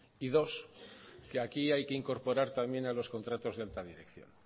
y dos que aquí hay que incorporar también a los contratos de alta dirección